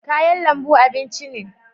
Kayan lambu abinci ne